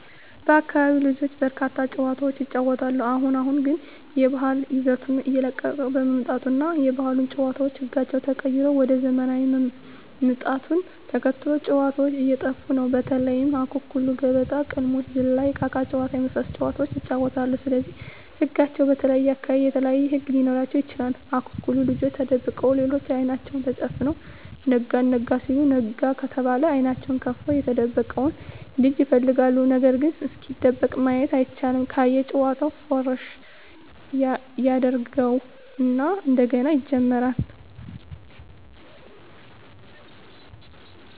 በአካቢው ልጆች በርካታ ጨዋታዎችን ይጫወታሉ አሁን አሁን ግን የባህል ይዘቱን እየለቀቀ በመምጣቱ እና የባህል ጨዋታዎች ህጋቸው ተቀይሮ ወደ ዘመናውያን ምጣቱን ተከትሎ ጨዎታዎች እየጠፉ ነው በተለይ:- አኩኩሉ ገበጣ: ቅልሞሽ ዝላይ እቃቃ ጨዎታ የመሣሠሉት ጨዋታዎች ይጫወታሉ ስለዚህ ህጋቸው በተለየየ አካባቢ የተለያዩ ህግ ሊኖራቸው ይችላል አኩኩሉ ልጆች ተደብቀው ሌሎች አይናቸውን ተጨፍነው ነጋ አልጋ ሲሉ ነጋ ከተባለ አይኔናቸውን ከፍተው የተደበቀውን ልጅ ይፈልጋሉ ነገርግ እስኪደበቅ ማየት አይቻልም ካየ ጨዋታውን ፉረሽ ያጀርገው እና እንደገና ይጀምራሉ።